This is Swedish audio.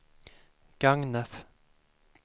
Gagnef